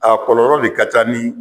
A kɔlɔlɔ de ka ka ca